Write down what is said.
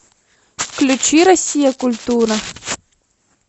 включи россия культура